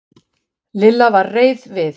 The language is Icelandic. Lilla var reið við